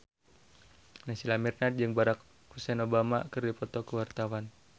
Naysila Mirdad jeung Barack Hussein Obama keur dipoto ku wartawan